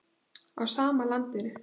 Á sama landinu.